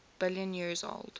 billion years old